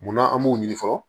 Munna an b'o ɲɛfɔ